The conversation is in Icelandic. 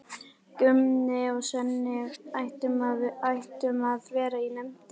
Gunni og Svenni ættum að vera í nefndinni.